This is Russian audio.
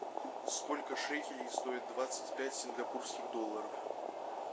сколько шекелей стоит двадцать пять сингапурских долларов